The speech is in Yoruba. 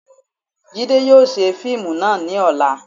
Jide yóò ṣe fiimú náá ni ọla